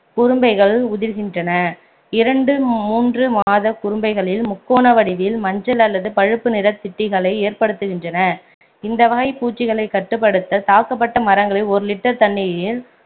குரும்பைகள் உதிர்கின்றன இரண்டு மூன்று மாத குரும்பைகளில் முக்கோண வடிவில் மஞ்சள் அல்லது பழுப்பு நிறத்திட்டிகளை ஏற்படுத்துகின்றன இந்த வகைப் பூச்சிகளைக் கட்டுப்படுத்த தாக்கப்பட்ட மரங்களில் ஒரு litre தண்ணீரில்